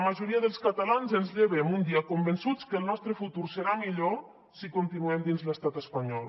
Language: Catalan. majoria dels catalans ens llevem un dia convençuts que el nostre futur serà millor si continuem dins l’estat espanyol